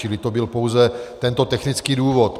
Čili to byl pouze tento technický důvod.